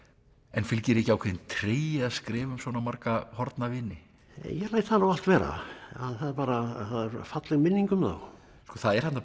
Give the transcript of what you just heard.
en fylgir ekki ákveðinn tregi að skrifa um svona marga horfna vini ég læt það nú allt vera það er falleg minning um þá það er þarna